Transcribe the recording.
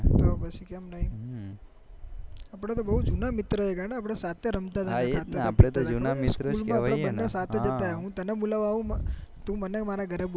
તો પછી કેમ નઈ આપડે તો બહુ જુના મિત્રો ગાંડા આપડે તો સાથે રમતા હું તને બોલવા આવું તું મને મારા ઘરે